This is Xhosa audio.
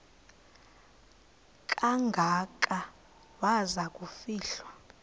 kangaka waza kufihlwa